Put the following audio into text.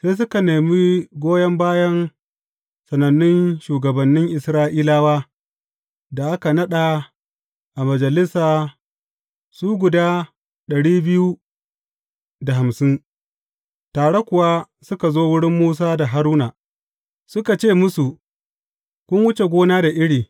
Sai suka nemi goyon bayan sanannun shugabannin Isra’ilawa da aka naɗa a majalisa su guda dari biyu da hamsin, tare kuwa suka zo wurin Musa da Haruna, suka ce musu, Kun wuce gona da iri!